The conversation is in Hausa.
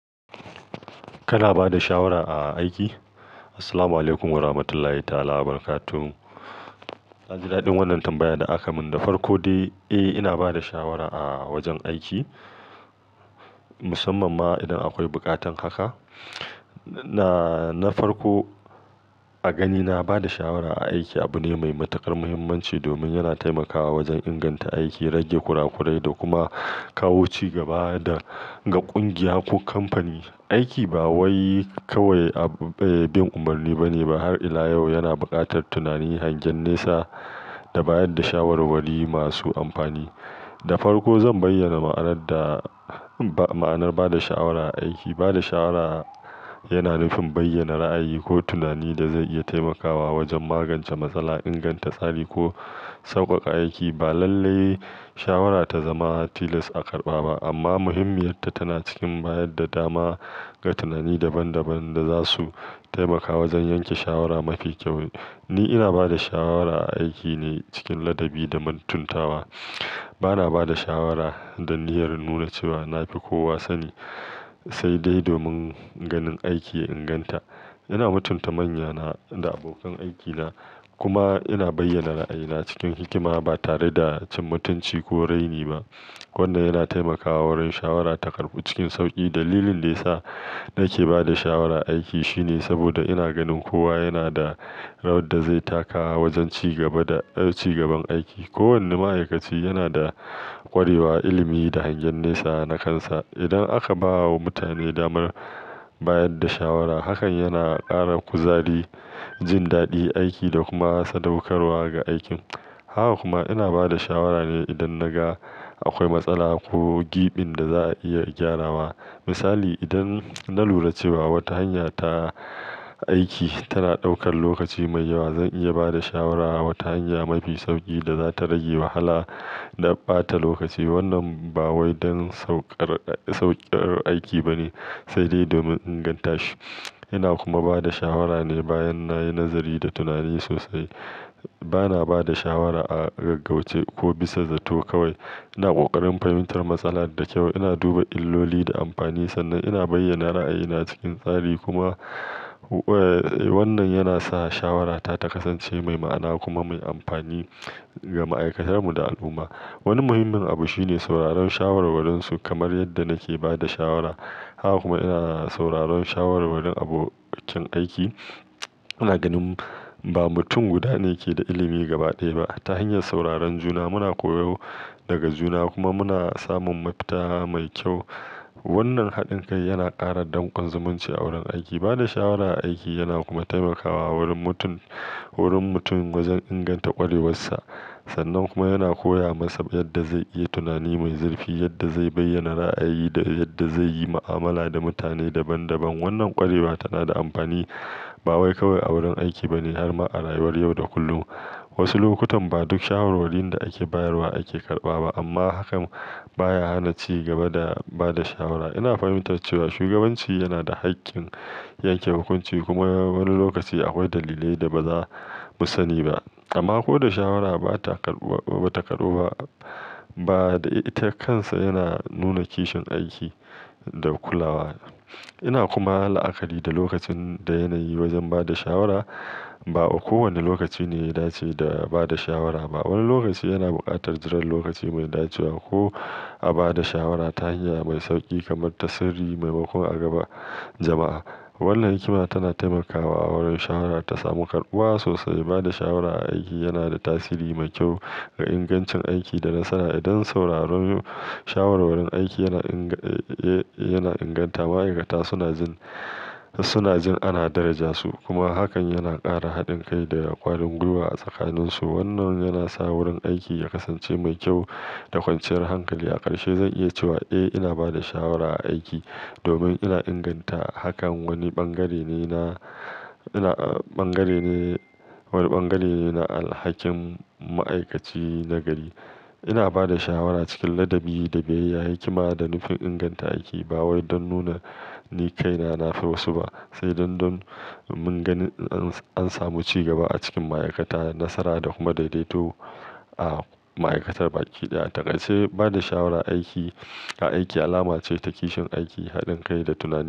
Kana bada shawara a aiki? Assalamualaikum Warahmatullahi ta'alaWabarakatuh. Naji daɗin wannan tambayar da aka mun. Da farko dai, eh ina bada shawara a wajen aiki, musamman ma idan akwai buƙatar haka. Na, na farko a gani na bada shawara a aiki abune mai matuƙar muhimmanci domin yana taimakawa wajen inganta aiki, rage kurakurai da kuma kawo cigaba da ga ƙungiya ko kamfani. Aiki ba wai kawai bin umarni baneba, har ila yau yana buƙatar tunani, hangen nesa da bayarda shawarwari masu amfani. Da farko zan bayyana ma'anar da ma'anar bada shawara a aiki. Bada shawara yana nufin bayyana ra'ayi ko tunani dazai iya taimakawa wajen magance matsala, inganta tsari ko sauƙaƙa aiki. Ba lalle shawara ta zama tilas a karɓa ba amma muhimmiyar ta tana cikin bayar da dama ga tunani daban-daban daza su taimaka wajen yanke shawara mafi kyau. Ni ina bada shawara a aiki ne cikin ladabi da mantuntawa. Bana bada shawara da niyyar nuna cewa nafi kowa sani, saidai domin ganin aiki ya inganta. Ina mutunta manyana da abokan aikina kuma ina bayyana ra'ayina cikin hikima batare da cin mutunci ko raini ba, wanda yana taimakawa wurin shawara ta karɓu cikin sauƙi. Dalilin da yasa nake bada shawara a aiki shine saboda ina ganin kowa yana da rawar da zai taka wajen cigaba da, cigaban aiki. Kowanne ma'aikaci yana da ƙwarewa, ilimi da hangen nesa na kansa. Idan aka ba wa mutane damar bayar da shawara, hakan yana ƙara kuzari, jin daɗin aiki da kuma sadaukarwa ga aikin. Haka kuma ina bada shawara ne idan naga akwai matsala ko ƙibin da za'a iya gyarawa. Misali, idan na lura cewa wata hanya ta aiki tana ɗaukar lokaci mai yawa, zan iya ba da shawara wata hanya mafi sauƙi da zata rage wahala na ɓata lokaci. Wannan ba wai don sauƙar, sauƙar aiki bane, sai dai domin inganta shi. Ina kuma bada shawara ne bayan nayi nazari da tunani sosai. Bana bada shawara a gaggauce ko bisa zato kawai. Ina ƙoƙarin fahimtar matsala da ƙyau, ina duba illoli da amfani sannan ina bayyana ra'ayina cikin tsari. Kuma wannan yana sa shawarata ta kasance mai ma'ana kuma mai amfani ga ma'aikatar mu da al'umma. Wani muhimmin abu shine sauraron shawarwarinsu kamar yadda nake bada shawara. Haka kuma ina sauraron shawarwarin abokin aiki. Ina ganin ba mutum guda ne ke da ilimi gaba ɗaya ba. Ta hanyar sauraron juna muna koyo daga juna kuma muna samun mafita mai ƙyau. Wannan haɗin kai yana ƙara dankon zumunci a wurin aiki. Bada shawara a aiki yana kuma taimakawa wurin mutum, wurin mutum wajen inganta ƙwarewarsa. Sannan kuma yana koya masa yadda zai iya tunani mai zurfi, yadda zai bayyana ra'ayi da yadda zaiyi mu'amala da mutane daban-daban. Wannan ƙwarewa tanada amfani ba wai kawai a wurin aiki bane harma a rayuwar yau da kullum. Wasu lokutan ba duk shawarwarin da ake bayarwa ake karɓa ba amma hakan baya hana cigaba da bada shawara. Ina fahimtar cewa shugabanci yana da haƙƙin yanke hukunci kuma wani lokaci akwai dalilai da bazamu sani ba. Amma koda shawara bata karɓuwa, ba ta karɓu ba, bada ita kansa yana nuna kishin aiki da kulawa. Ina kuma la'akari da lokacin da yanayi wajen ba da shawara. Ba'a kowane lokaci ne ya dace da ba da shawara ba. Wani lokaci yana buƙatar jiran lokaci mai dacewa ko a bada shawara ta hanya mai sauƙi kamar ta sirri maimakon a gaba jama'a. Wannan hikima tana taimakawa wurin shawara ta samu karɓuwa sosai. Ba da shawara a aiki yana da tasiri mai kyau ga ingancin aiki da nasara. Idan sauraron shawarwarin aiki yana inga, yana inganta ma'aikata suna jin, suna jin ana darajarsu kuma hakan yana ƙara haɗin kai da ƙwarin gwiwa a tsakaninsu. Wannan yana sa wurin aiki ya kasance mai kyau da kwanciyar hankali. A ƙarshe zan iya cewa, eh ina bada shawara a aiki domin ina inganta hakan wani bangare nena, bangare ne, wani bangare ne na alhakin ma'aikaci nagari. Ina bada shawara cikin ladabi da biyayya, hikima da nufin inganta aiki ba wai don nuna ni kaina nafi wasu ba, sai don, don mun ganin an samu cigaba a cikin ma'aikata, nasara da kuma daidaito a ma'aikatar baƙi ɗaya. A takaice ba da shawara aiki, a aiki alama ce ta kishin aiki, haɗin kai da tunani.